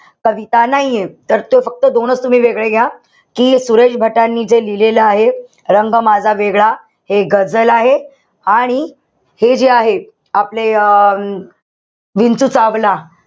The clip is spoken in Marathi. कविता नाहीये. तर ते फक्त दोनच तुम्ही वेगळे घ्या. कि सुरेश भटांनी जे लिहिलेलं आहे. रंग माझा वेगळा. हे गझल आहे. आणि हे जे आहे, आपले अं विंचू चावला.